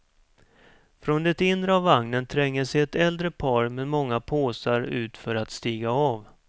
Från det inre av vagnen tränger sig ett äldre par med många påsar ut för att stiga av.